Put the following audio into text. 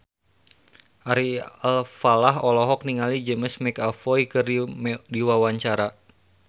Ari Alfalah olohok ningali James McAvoy keur diwawancara